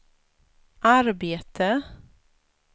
arbete